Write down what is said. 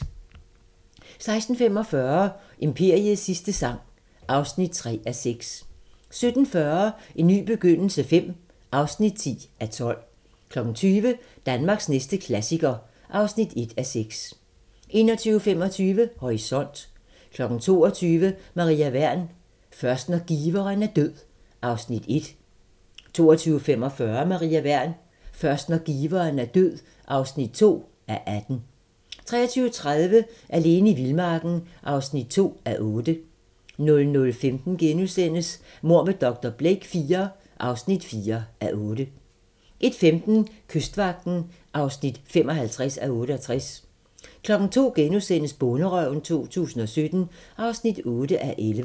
16:45: Imperiets sidste sang (3:6) 17:40: En ny begyndelse V (10:12) 20:00: Danmarks næste klassiker (1:6) 21:25: Horisont 22:00: Maria Wern: Først når giveren er død (Afs. 1) 22:45: Maria Wern: Først når giveren er død (2:18) 23:30: Alene i vildmarken (2:8) 00:15: Mord med dr. Blake IV (4:8)* 01:15: Kystvagten (55:68) 02:00: Bonderøven 2017 (8:11)*